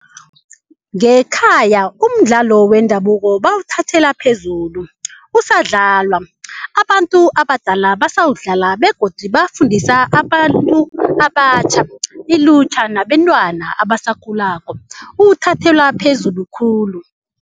Ngekhaya umdlalo wendabuko bawuthathela phezulu kusadlalwa abantu abadala basawudlala begodu bafundisa abantu abatjha ilutjha nabentwana abasakhulako uthathelwa phezulu khulu.